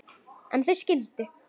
En þau skildu.